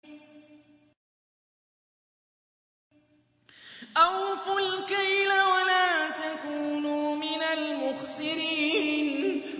۞ أَوْفُوا الْكَيْلَ وَلَا تَكُونُوا مِنَ الْمُخْسِرِينَ